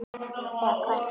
Eða Hvað?